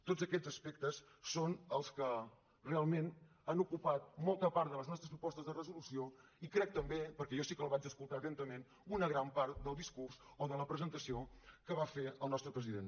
tots aquests aspectes són els que realment han ocupat molta part de les nostres propostes de resolució i crec que també perquè jo sí que el vaig escoltar atentament una gran part del discurs o de la presentació que va fer el nostre president